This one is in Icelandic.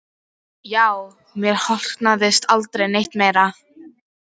Já, mér hlotnaðist aldrei neitt meira.